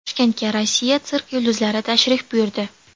Toshkentga Rossiya sirk yulduzlari tashrif buyurdi.